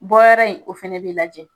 Bɔ yɔrɔ in , o fana bɛ lajɛ.